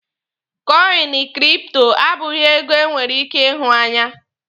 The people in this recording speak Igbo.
kọịnị kripto abụghị ego e nwere ike ihụ anya.